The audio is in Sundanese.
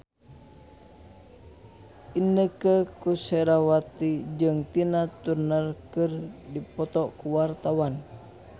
Inneke Koesherawati jeung Tina Turner keur dipoto ku wartawan